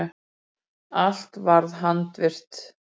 Allt var handvirkt.